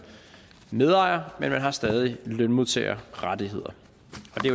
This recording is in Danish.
medejer men man har stadig lønmodtagerrettigheder